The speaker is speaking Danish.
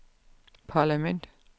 parlament